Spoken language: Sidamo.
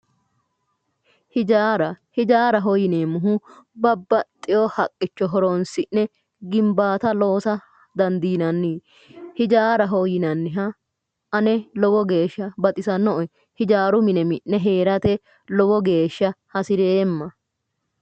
hijaara hijaaraho yineemmohu babbaxxinoha haqqicho horoonsi'ne gimbaata loosa dandiinanni hijaaraho yinanniha ane lowo geeshsha baxisannoe hijaaru mine mi'ne heerate lowo geeshsha hasireemma.